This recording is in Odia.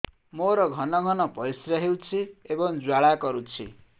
ମୋର ଘନ ଘନ ପରିଶ୍ରା ହେଉଛି ଏବଂ ଜ୍ୱାଳା କରୁଛି